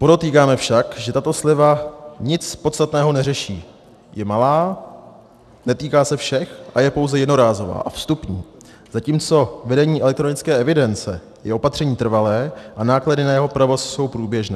Podotýkáme však, že tato sleva nic podstatného neřeší - je malá, netýká se všech a je pouze jednorázová a vstupní, zatímco vedení elektronické evidence je opatření trvalé a náklady na jeho provoz jsou průběžné.